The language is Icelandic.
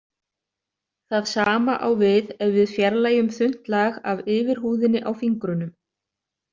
Það sama á við ef við fjarlægjum þunnt lag af yfirhúðinni á fingrunum.